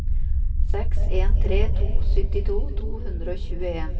seks en tre to syttito to hundre og tjueen